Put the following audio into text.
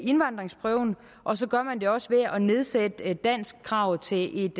indvandringsprøven og så gør man det også ved at nedsætte danskkravet til et